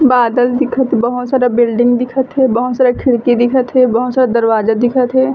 बादल दिखत बहोत सारा बिल्डिंग दिखत हे बहोत सारा खिड़की दिखत हे बहोत सारा दरवाजा दिखत हे।